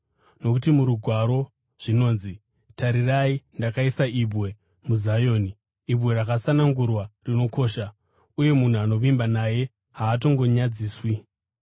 Nokuti muRugwaro zvinonzi: “Tarirai, ndakaisa ibwe muZioni, ibwe rakasanangurwa, rinokosha, uye munhu anovimba naye haatongonyadziswi.”